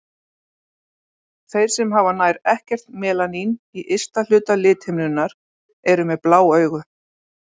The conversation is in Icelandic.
Þeir sem hafa nær ekkert melanín í ysta hluta lithimnunnar eru með blá augu.